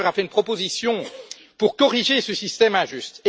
Juncker, a fait une proposition visant à corriger ce système injuste.